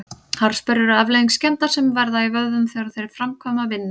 Harðsperrur eru afleiðing skemmda sem verða í vöðvum þegar þeir framkvæma vinnu.